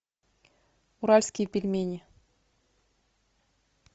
уральские пельмени